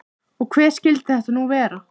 Og hver skyldi þetta nú vera?